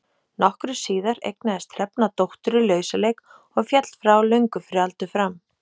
Nokkru síðar eignaðist Hrefna dóttur í lausaleik og féll frá löngu fyrir aldur fram.